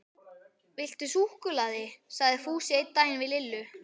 Viltu súkkulaði? sagði Fúsi einn daginn við Lillu.